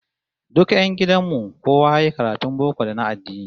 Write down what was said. Duk 'yan gidan mu kowa yayi karatun boko da na addini